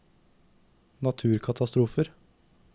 naturkatastrofer